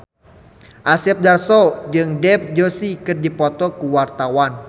Asep Darso jeung Dev Joshi keur dipoto ku wartawan